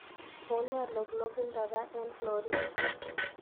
Une lolongindo raa eng florita